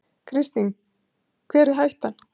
Kristín: Hver er hættan?